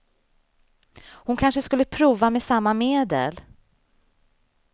Hon kanske skulle prova med samma medel.